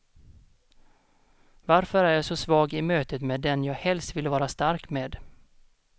Varför är jag så svag i mötet med den jag helst vill vara stark med?